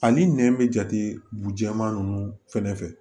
Ani nɛn bɛ jate bɛma ninnu fɛnɛ fɛ